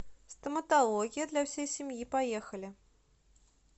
стоматология для всей семьи поехали